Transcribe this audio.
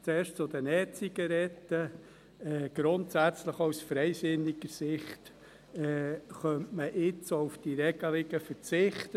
Zuerst zu den E-Zigaretten: Grundsätzlich, auch aus freisinniger Sicht, könnte man jetzt auch auf diese Regelungen verzichten.